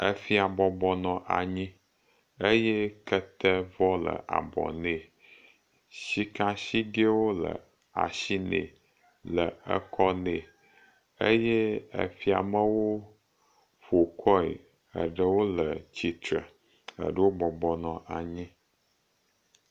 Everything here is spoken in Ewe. Efia bɔbɔ nɔ anyi eye ketevɔ le abɔ nɛ. Sikasigɛwo le asi nɛ, le ekɔ nɛ eye fiamewo ƒokɔe eye ɖewo le tsitre. Eɖewo bɔbɔ nɔ anyi.